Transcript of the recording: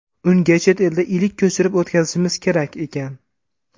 Unga chet elda ilik ko‘chirib o‘tkazishimiz kerak ekan.